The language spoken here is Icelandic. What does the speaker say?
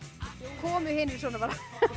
komu hinir svona bara